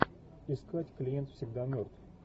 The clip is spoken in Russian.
искать клиент всегда мертв